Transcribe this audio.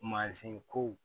Mansin ko